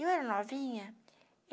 Eu era novinha.